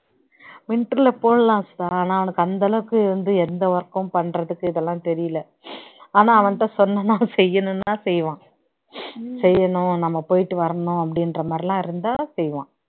winter ல போடலாம் சுதா ஆனா அவனுக்கு அந்த அளவுக்கு வந்து எந்த work கும் பண்றதுக்கு இதெல்லாம் தெரியல ஆனா அவன்கிட்ட சொன்னோம்னா அவன் செய்யணும்னா செய்வான் செய்யணும் நாம போயிட்டு வரணும் அப்டின்ற மாதிரி எல்லாம் இருந்தா செய்வான்